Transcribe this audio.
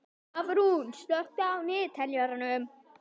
Hafrún, slökktu á niðurteljaranum.